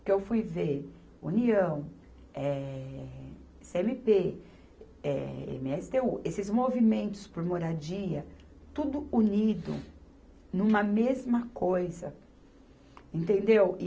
porque eu fui ver União, eh, cê eme pê, eh, eme esse tê u, esses movimentos por moradia, tudo unido numa mesma coisa, entendeu?